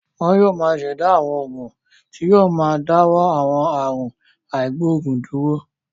Wọn yóò ṣẹ̀dá àwọn oògùn tí yóò máa dáwọ́ àwọn àrùn àìgboògùn dúró.